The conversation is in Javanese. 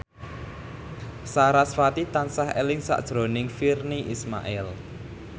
sarasvati tansah eling sakjroning Virnie Ismail